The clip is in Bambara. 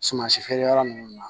Suman si feere yɔrɔ ninnu na